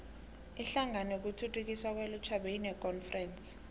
inhlangano yokuthuthukiswa kwelutjha beyinekonferense